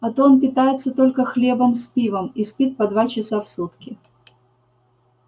а то он питается только хлебом с пивом и спит по два часа в сутки